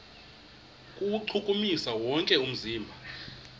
kuwuchukumisa wonke umzimba